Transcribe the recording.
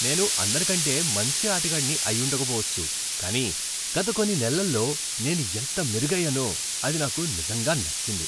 నేను అందరికంటే మంచి ఆటగాడిని అయ్యుండక పోవచ్చు కానీ గత కొన్ని నెలల్లో నేను ఎంత మెరుగయ్యానో అది నాకు నిజంగా నచ్చింది.